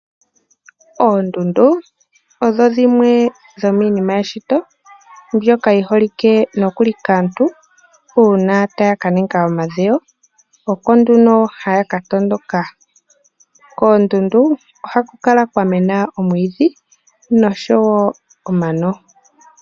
Oondundu odho dhimwe dhomiinima yeshito mbyoka yi holike kaantu uuna taya ka ninga omadhewo. Oko nduno haya ka tondoka. Koondundu ohaku kala kwa mena omwiidhi nosho wo omano.